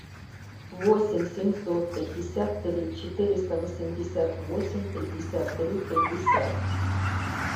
восемь семьсот пятьдесят три четыреста восемьдесят восемь пятьдесят три пятьдесят